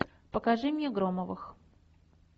покажи мне громовых